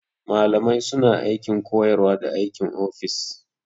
Malamai suna aikin koyarwa da aikin ofis.